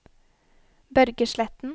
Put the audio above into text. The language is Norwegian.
Børge Sletten